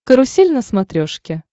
карусель на смотрешке